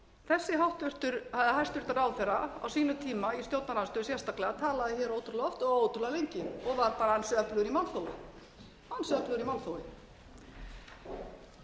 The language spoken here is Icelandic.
þessi hæstvirtur ráðherra á sínum tíma í stjórnarandstöðu sérstaklega talaði ótrúlega oft og ótrúlega lengi og var bara allur í málþófi hann sagðist vera